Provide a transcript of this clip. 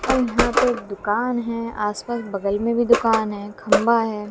यहां पे एक दुकान है आस पास बगल में भी दुकान है खंभा है।